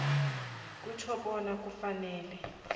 kutjho bona kufanele